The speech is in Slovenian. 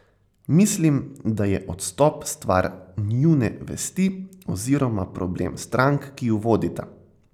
Mislim, da je odstop stvar njune vesti oziroma problem strank, ki ju vodita.